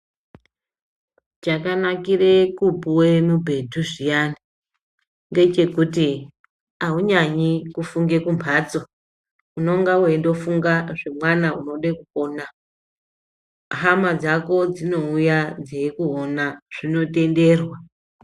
Chakanakire kupuwe mubhedhu zviyani, ngechekuti aunyanyi kufunge kumhatso , unonga weindofunge zvemwana unode kupona, hama dzako dzinouya dzeikuona zvinotenderwa.